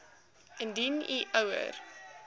indien u ouer